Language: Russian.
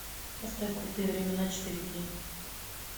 поставь крутые времена четыре кей